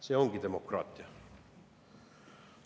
See ongi demokraatia.